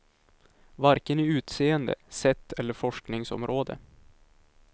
Varken i utseende, sätt eller forskningsområde.